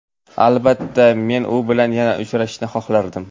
Albatta, men u bilan yana uchrashishni xohlardim.